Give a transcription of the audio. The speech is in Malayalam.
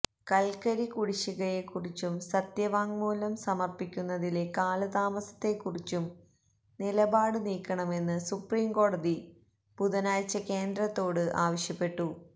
കല്ക്കരി കുടിശ്ശികയെക്കുറിച്ചും സത്യവാങ്മൂലം സമര്പ്പിക്കുന്നതിലെ കാലതാമസത്തെക്കുറിച്ചും നിലപാട് നീക്കണമെന്ന് സുപ്രീം കോടതി ബുധനാഴ്ച കേന്ദ്രത്തോട് ആവശ്യപ്പെട്ടു